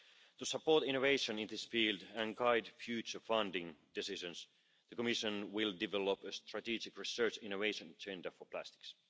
To support innovation in this field and guide future funding decisions, the Commission will develop a strategic research innovation agenda for plastics.